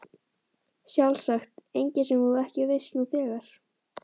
Sjálfsagt engin sem þú ekki veist nú þegar.